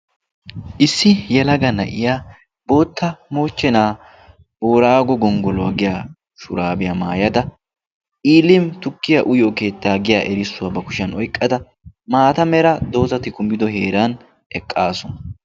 issi yelaga na'iya bootta moochchenaa boraago gonggoluwaa giya shuraabiyaa maayada ilimi tukkiya uyo keettaa giya erissuwaa ba kushiyan oyqqada maata mera doozati kumido heeran eqqaasuna